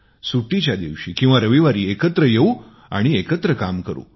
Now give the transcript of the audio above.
सुट्टीच्या दिवशी किंवा रविवारी एकत्र येऊ आणि एकत्र काम करू